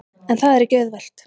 En það er ekki auðvelt.